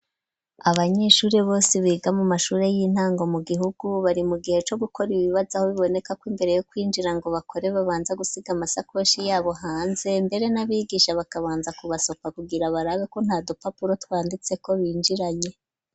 Abanyeshuri bose biga mu mashuri y'intango mu gihugu bari mu gihe co gukora ibibazo aho biboneka kw'imbere yo kwinjira ngo bakore babanza gusiga amasakoshi yabo hanze mbere n'abigisha bakabanza ku basopa kugira barabeko nta dupapuro twanditseko binjiranye